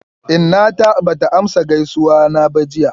Inna ta ba ta amsa gaisuwa na ba jiya.